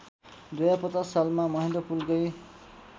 २०५० सालमा महेन्द्रपुलकै